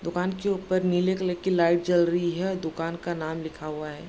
दुकान के ऊपर नीले कलर की लाइट जल रही है दुकान का नाम लिखा हुआ है।